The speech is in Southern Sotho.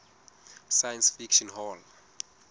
science fiction hall